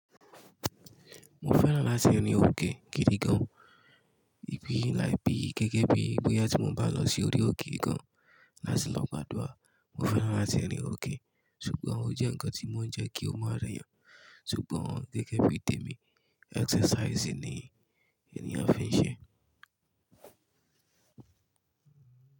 Mo fẹ́ràn láti rin òkè gidi gan. Ibi láì bi gẹ́gẹ́ bí bóyá tí mo bá lọ sí orí òkè kan láti lọ gbàdúrà. Mo fẹ́ràn láti rin òkè, ṣùgbọ́n ó jẹ́ ǹkan tí mo ń jẹ́ kí ó máa rẹyàn. Ṣùgbọ́n gẹ́gẹ́ bí tèmi exercising ni ènìyàn fi ń ṣe ẹ́.